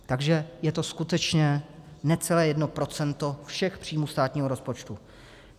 Takže je to skutečně necelé jedno procento všech příjmů státního rozpočtu.